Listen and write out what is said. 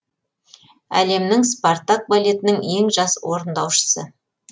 әлемнің спартак балетінің ең жас орындаушысы